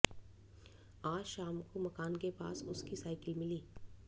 आज शाम को मकान के पास उसकी साइकिल मिली